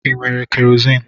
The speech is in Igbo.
ị nwere kerozini?